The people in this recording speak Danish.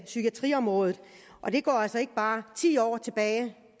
psykiatriområdet og det går ikke bare ti år tilbage det